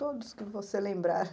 Todos que você lembrar.